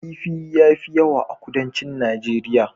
Kifi ya fi yawa a Kudancin Najeriya.